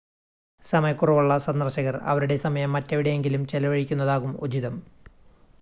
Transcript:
സമയക്കുറവുള്ള സന്ദർശകർ അവരുടെ സമയം മറ്റെവിടെയെങ്കിലും ചെലവഴിക്കുന്നതാകും ഉചിതം